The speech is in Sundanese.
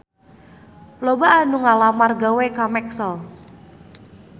Loba anu ngalamar gawe ka Maxell